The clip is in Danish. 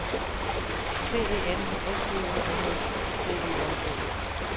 P E N S I O N S B Y R D E